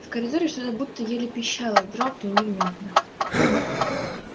в коридоре что-то будто еле пищало дробно и невнятно